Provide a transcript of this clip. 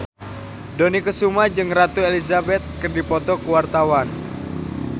Dony Kesuma jeung Ratu Elizabeth keur dipoto ku wartawan